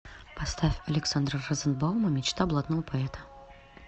поставь александра розенбаума мечта блатного поэта